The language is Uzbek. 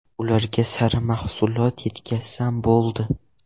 Ularga sara mahsulot yetkazsam bo‘ldi.